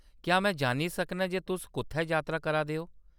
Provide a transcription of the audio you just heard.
क्या में जान्नी सकनां जे तुस कुʼत्थै यात्रा करा दे ओ?